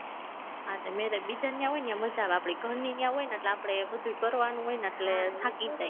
હા તે marriage બીજાની ન્યા હોય ને ન્યા મજા આવે આપણી ઘરની ન્યા હોય ને એટલે આપણે બધું કરવાનું હોય ને એટલે થાકી જાય